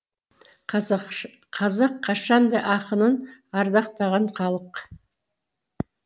қазақ қашанда ақынын ардақтаған халық